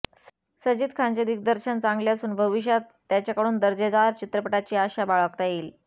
सजिद खानचे दिग्दर्शन चांगले असून भविष्यात त्याच्याकडून दर्जेदार चित्रपटाची आशा बाळगता येईल